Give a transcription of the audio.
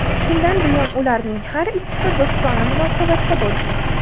Shundan buyon ularning har ikkisi do‘stona munosabatda bo‘lgan.